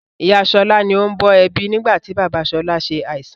Ìyá sọlá ni ó ń bọ̀ ẹbí nigbati bàbá sọlá ṣe àìsàn